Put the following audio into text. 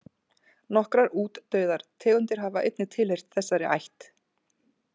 Nokkrar útdauðar tegundir hafa einnig tilheyrt þessari ætt.